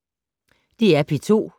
DR P2